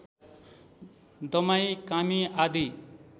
दमाई कामी आदि